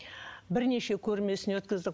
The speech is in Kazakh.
бірнеше көрмесін өткіздік